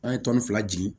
An ye tɔni fila di